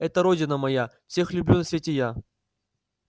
это родина моя всех люблю на свете я